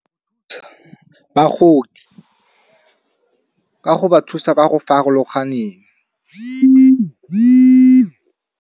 Bagodi ka go ba thusa ka go farologaneng.